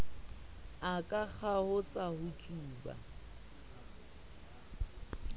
a ka kgaotsa ho tsuba